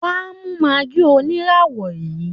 Wá mú maggi oníràwọ̀ yìí